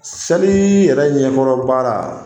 Seli yɛrɛ ɲɛkɔrɔ baara